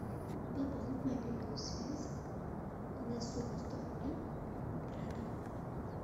пополнить мобильную связь на сумму сто рублей брата